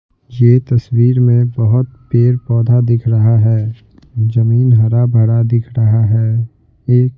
ये तस्वीर में बहुत पेड़-पौधा दिख रहा है जमीन हरा-भरा दिख रहा है एक --